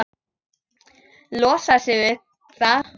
Losar sig við það.